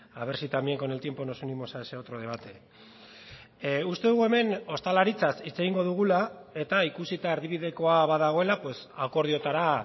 a ver si también con el tiempo nos unimos a ese otro debate uste dugu hemen ostalaritzaz hitz egingo dugula eta ikusita erdibidekoa badagoela akordioetara